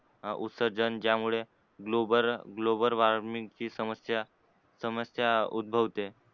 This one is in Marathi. अं उत्सर्जन ज्यामुळे global, global warming ची समस्या समस्या उध्भवते.